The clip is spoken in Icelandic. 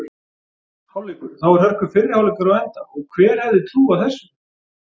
Hálfleikur: Þá er hörku fyrri hálfleikur á enda og hver hefði trúað þessu??